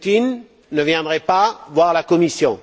Poutine ne viendrait pas voir la Commission.